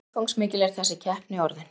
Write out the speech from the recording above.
Hversu umfangsmikil er þessi keppni orðin?